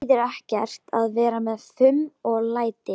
Það þýðir ekkert að vera með fum og læti.